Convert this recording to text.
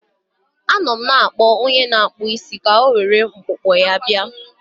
Anọ m na-akpọ onye na-akpụ isi ka o were mkpụkpọ ya bịa.